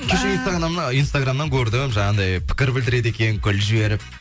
кеше инстаграмнан көрдім жаңағындай пікір білдіреді екен гүл жіберіп